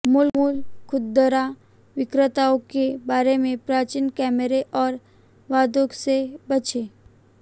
मूल खुदरा विक्रेताओं के बारे में प्राचीन कैमरे और दावों से बचें